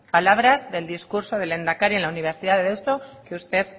palabras del discurso del lehendakari en la universidad de deusto que usted